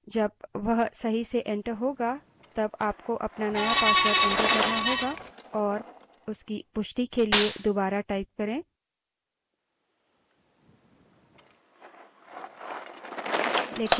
जब वह सही से enter करेंगे तब आपको अपना नया password enter करना होगा और उसकी पुष्टि के लिए दुबारा टाइप करें